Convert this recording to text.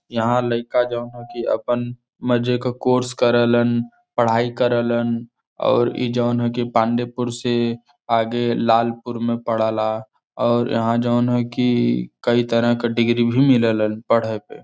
यहां लइका जोन ह की अपन मजे की कोर्स करेलन पढाई करेलन और इ जॉन ह की पांडेपुर से आगे लालपुर में परेला और यहां जॉन ह की कई तरह के डिग्री भी व्मिलेला पढे के ।